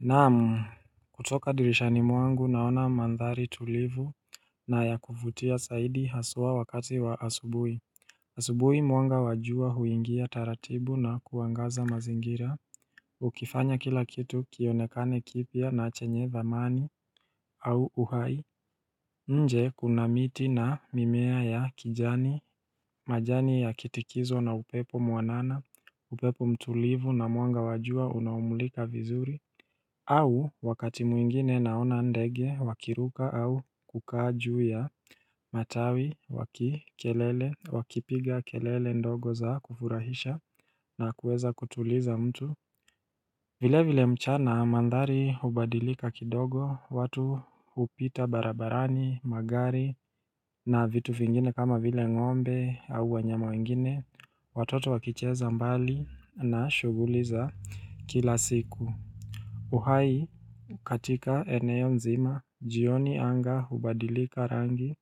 Naam kutoka dirishani mwangu naona mandhari tulivu na ya kuvutia saidi haswa wakati wa asubuhi asubuhi mwanga wa jua huingia taratibu na kuangaza mazingira hukifanya kila kitu kionekane kipya na chenye dhamani au uhai nje kuna miti na mimea ya kijani majani ya kitikizwa na upepo mwanana, upepo mtulivu na mwanga wa jua unaumulika vizuri au wakati mwingine naona ndege wakiruka au kukaa juu ya Matawi wakipiga kelele ndogo za kufurahisha na kuweza kutuliza mtu Vilevile mchana mandhari hubadilika kidogo watu hupita barabarani magari na vitu vingine kama vile ngombe au wanyama wengine Watoto wakicheza mbali na shughuli za kila siku uhai katika eneo nzima jioni anga hubadilika rangi